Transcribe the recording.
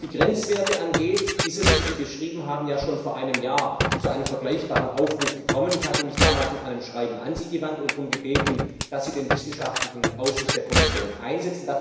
Was die Grenzwerte angeht, ist es wie Sie beschrieben haben schon vor einem Jahr zu einem vergleichbaren Aufruf gekommen. Ich hatte mich damals mit einem Schreiben an Sie gewandt und darum gebeten, dass Sie den wissenschaftlichen Ausschuss der Kommission anrufen.